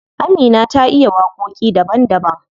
Amina ta iya waƙoƙi daban daban.